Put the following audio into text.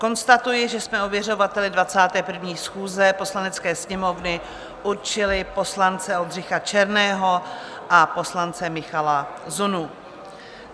Konstatuji, že jsme ověřovateli 21. schůze Poslanecké sněmovny určili poslance Oldřicha Černého a poslance Michala Zunu.